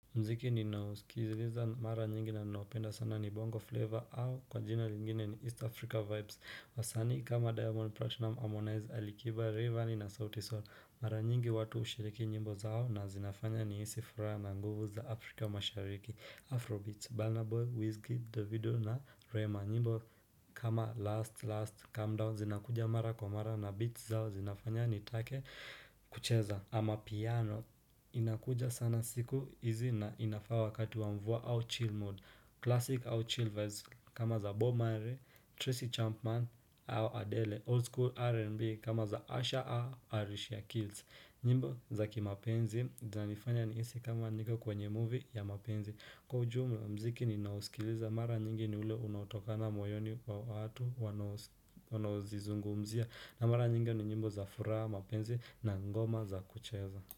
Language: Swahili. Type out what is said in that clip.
Mziki ninao kiziliza mara nyingi na ninao upenda sana ni bongo flavor au kwa jina lingine ni East Africa Vibes wasanii kama Diamond Platinum Harmonize Alikiba Rayvanny na sauti Soul. Mara nyingi watu hushiriki nyimbo zao na zinafanya ni hisi furaha na nguvu za Afrika mashariki Afrobeats, Burna Boy, Wizkid, Davido na Rema nyimbo kama Last Last Calm Down zinakuja mara kwa mara na beats zao zinafanya nitake kucheza amapiano inakuja sana siku hizi na inafaa wakati wa mvua au chill mood Classic au chill vibes kama za Bob Marley, Tracy Chapman au Adele Old school R&B kama za Asha a Alicia Keys nyimbo za kimapenzi zinanifanya nihisi kama niko kwenye movie ya mapenzi. Kwa ujumla mziki ni nao usikiliza mara nyingi ni ule unautokana moyoni mwa watu wanao zizungumzia na mara nyingi ni nyimbo za furaha mapenzi na ngoma za kucheza.